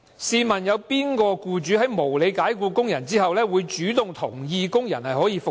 試問有哪個僱主在無理解僱工人後，會主動同意讓工人復職？